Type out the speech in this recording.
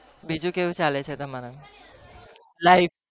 બીજું કેવું ચાલે છે તમારે